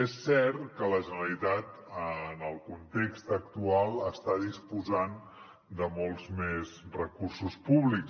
és cert que la generalitat en el context actual està disposant de molts més recursos públics